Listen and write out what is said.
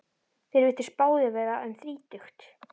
Þeir virtust báðir vera um þrítugt.